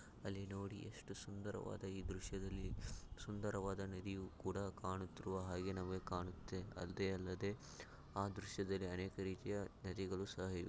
ಅಲ್ಲಿ ನೋಡಿ ಎಷ್ಟು ಸುಂದರವಾದ ಈ ದೃಶ್ಯದಲ್ಲಿ ಸುಂದರವಾದ ನದಿಯು ಕೂಡ ಕಾಣುತ್ತಿರುವ ಹಾಗೆ ನಮಗೆ ಕಾಣುತ್ತೆ ಅಲ್ದೆ ಅಲ್ಲದೆ ಆ ದೃಶ್ಯದಲ್ಲಿ ಅನೇಕ ರೀತಿಯ ನದಿಗಳು ಸಹ ಇವೆ.